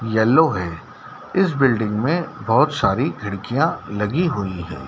Yellow है इस building मे बहोत सारी खिड़कियां लगी हुई है।